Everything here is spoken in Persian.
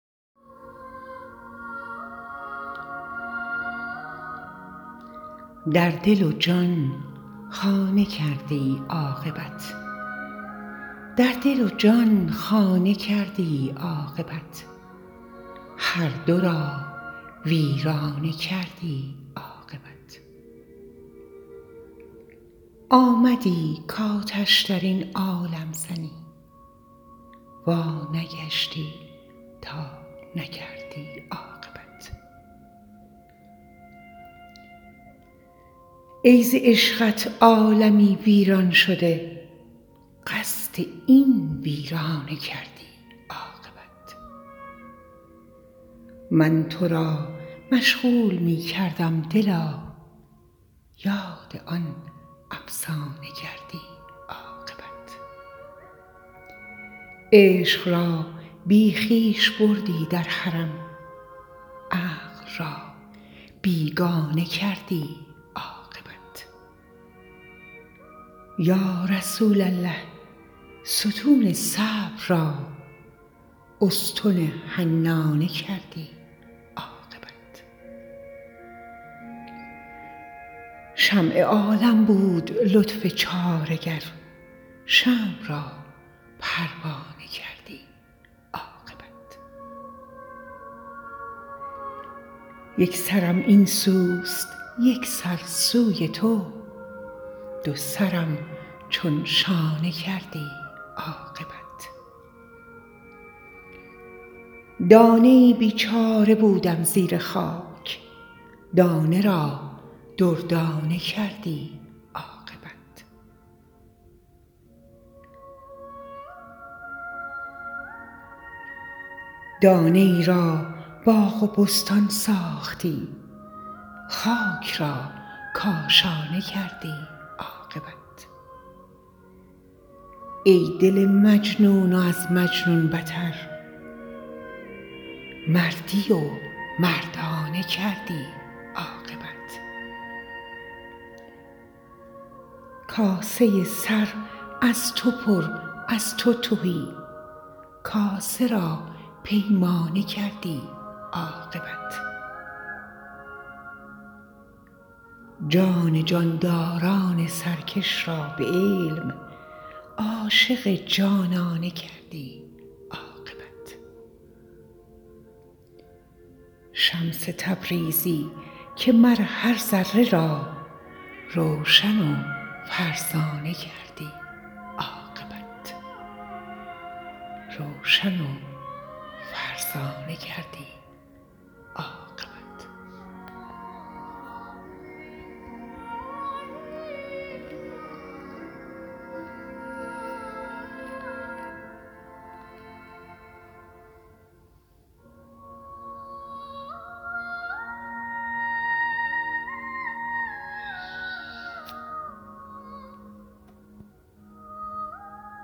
در دل و جان خانه کردی عاقبت هر دو را دیوانه کردی عاقبت آمدی کآتش در این عالم زنی وانگشتی تا نکردی عاقبت ای ز عشقت عالمی ویران شده قصد این ویرانه کردی عاقبت من تو را مشغول می کردم دلا یاد آن افسانه کردی عاقبت عشق را بی خویش بردی در حرم عقل را بیگانه کردی عاقبت یا رسول الله ستون صبر را استن حنانه کردی عاقبت شمع عالم بود لطف چاره گر شمع را پروانه کردی عاقبت یک سرم این سوست یک سر سوی تو دو سرم چون شانه کردی عاقبت دانه ای بیچاره بودم زیر خاک دانه را دردانه کردی عاقبت دانه ای را باغ و بستان ساختی خاک را کاشانه کردی عاقبت ای دل مجنون و از مجنون بتر مردی و مردانه کردی عاقبت کاسه سر از تو پر از تو تهی کاسه را پیمانه کردی عاقبت جان جانداران سرکش را به علم عاشق جانانه کردی عاقبت شمس تبریزی که مر هر ذره را روشن و فرزانه کردی عاقبت